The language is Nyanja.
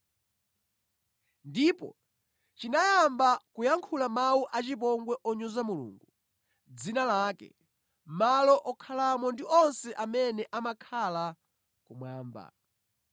Ndipo chinayamba kuyankhula mawu achipongwe onyoza Mulungu, dzina lake, malo okhalamo ndi onse amene amakhala kumwamba.